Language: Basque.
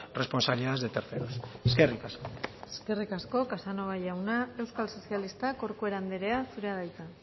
responsabilidades de terceros eskerrik asko eskerrik asko casanova jauna euskal sozialistak corcuera andrea zurea da hitza